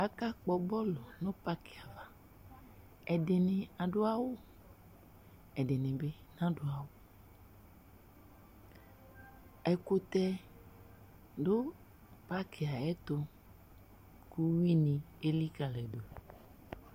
Aka kpɔ bɔlu nu paki ạvạ Ɛdini aɖu awu, ɛdinibi nadu awu Ɛkutɛ du paki yɛ ayɛtu, ku uwui ni elikaliyi du